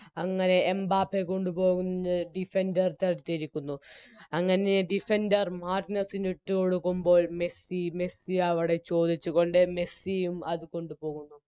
അങ്ങനെ എംബാപ്പയെ കൊണ്ടുപോവുന്നത് Defender തടുത്തിരിക്കുന്നു അങ്ങനെ Defender മാർട്ടിനസ്സിനിട്ടുകൊടുക്കുമ്പോൾ മെസ്സി മെസ്സിയവിടെ ചോദിച്ചുകൊണ്ട് മെസ്സിയും അത് കൊണ്ടുപോകുന്നു